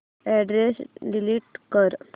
address delete कर